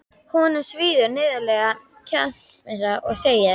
Honum svíður niðurlæging Kjarvalsstaða og segir